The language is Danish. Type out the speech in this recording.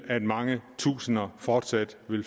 at mange tusinde fortsat vil